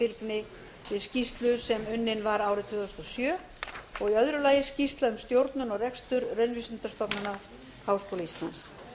við skýrslu sem unnin var árið tvö þúsund og sjö og í öðru lagi skýrslu um stjórnun og rekstur raunvísindastofnunar háskóla íslands